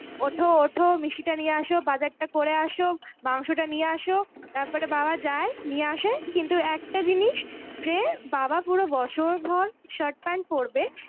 ওঠো ওঠো মিষ্টিটা নিয়ে আসো বাজারটা করে আসো মাংসটা নিয়ে আসো, তারপরে বাবা যায় নিয়ে আসে কিন্তু একটা জিনিস যে বাবা পুরো বছরভর shirt pant পরবে